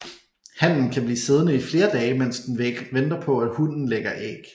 Hannen kan blive siddende i flere dage mens den venter på at hunnen lægger æg